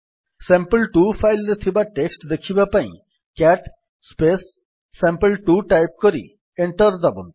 ସାମ୍ପଲ୍2 file ରେ ଥିବା text ଦେଖିବା ପାଇଁ ସିଏଟି ସାମ୍ପଲ୍2 ଟାଇପ୍ କରି ଏଣ୍ଟର୍ ଦାବନ୍ତୁ